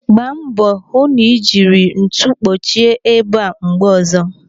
Gbaa mbọ hụ na ị jiri ntu kpuchie ebe a mgbe ọzọ.